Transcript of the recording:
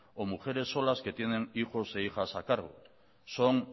o mujeres solas que tienen hijos e hijas a cargo son